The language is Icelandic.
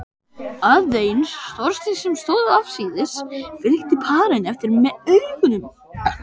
Aðeins Þorsteinn sem stóð afsíðis, fylgdi parinu eftir með augunum.